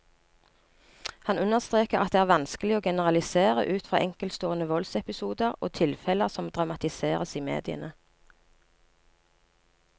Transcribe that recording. Han understreker at det vanskelig å generalisere ut fra enkeltstående voldsepisoder og tilfeller som dramatiseres i mediene.